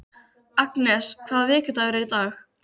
Agnes, hvaða vikudagur er í dag?